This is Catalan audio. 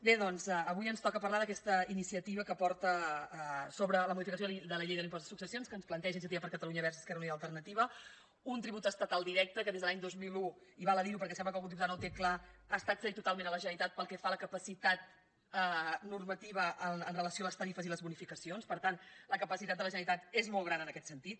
bé doncs avui ens toca parlar d’aquesta iniciativa sobre la modificació de la llei de l’impost de successions que ens planteja iniciativa per catalunya verds esquerra unida i alternativa un tribut estatal directe que des de l’any dos mil un i val a dir ho perquè sembla que algun diputat no ho té clar ha estat cedit totalment a la generalitat pel que fa a la capacitat normativa amb relació a les tarifes i les bonificacions per tant la capacitat de la generalitat és molt gran en aquest sentit